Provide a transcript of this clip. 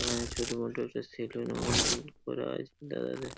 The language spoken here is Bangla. এখানে ছোটু মোটরস -এর সেলুন-ও করা আছে দাদাদের --